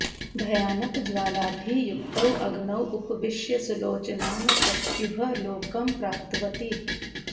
भयानकज्वालाभिः युक्तौ अग्नौ उपविश्य सुलोचनां पत्युः लोकं प्राप्तवती